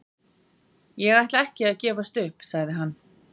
Ég ætla ekki að gefast upp, sagði hann.